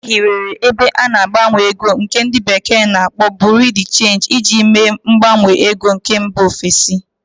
E hiwere ebe ana-agbanwe ego nke ndi bekee na-akpo Buru di Change iji mee mgbanwe ego nke mba ofesi.